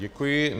Děkuji.